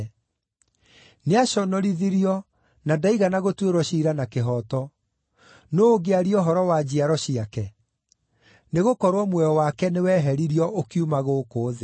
Nĩaconorithirio na ndaigana gũtuĩrwo ciira na kĩhooto. Nũũ ũngĩaria ũhoro wa njiaro ciake? Nĩgũkorwo muoyo wake nĩwehererio ũkiuma gũkũ thĩ.”